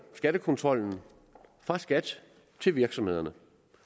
skattekontrollen fra skat til virksomhederne